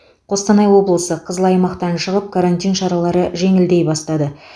қостанай облысы қызыл аймақтан шығып карантин шаралары жеңілдей бастады